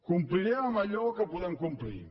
complirem amb allò que podem complir